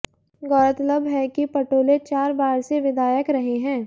गौरतलब है कि पटोले चार बार से विधायक रहे हैं